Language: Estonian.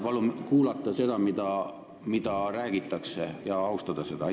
Palun kuulata seda, mida räägitakse, ja seda austada!